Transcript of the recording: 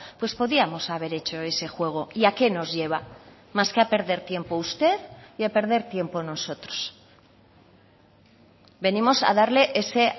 pues podíamos haber hecho ese juego y a que nos lleva más que a perder tiempo usted y a perder tiempo nosotros venimos a darle ese